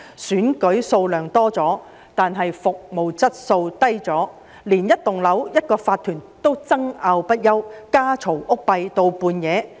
選舉數目增多，但服務質素下降，連一幢樓宇的一個法團也爭拗不休，家嘈屋閉至深夜。